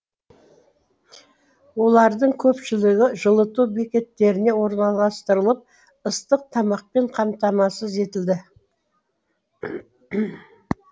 олардың көпшілігі жылыту бекеттеріне орналастырылып ыстық тамақпен қамтамасыз етілді